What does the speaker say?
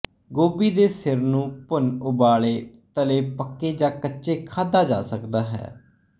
ਗੋਭੀ ਦੇ ਸਿਰ ਨੂੰ ਭੁਨ ਉਬਾਲੇ ਤਲੇ ਪੱਕੇ ਜਾਂ ਕੱਚੇ ਖਾਧਾ ਜਾ ਸਕਦਾ ਹੈ